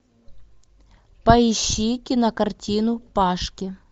поищи кинокартину пашки